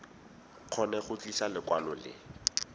kgone go tlisa lekwalo le